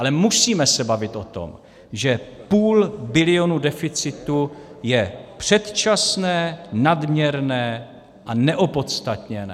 Ale musíme se bavit o tom, že půl bilionu deficitu je předčasné, nadměrné a neopodstatněné.